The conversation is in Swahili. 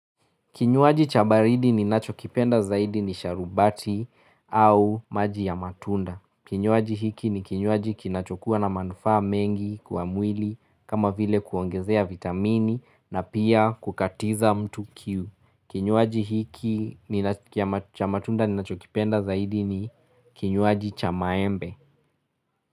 Kinyuaji chabaridi ni nachokipenda zaidi ni sharubati au maji ya matunda. Kinyuaji hiki ni kinyuaji kinachokuwa na manufa mengi kwa mwili kama vile kuongezea vitamini na pia kukatiza mtu kiu. Kinyuaji hiki cha matunda nachokipenda zaidi ni kinyuaji chamaembe.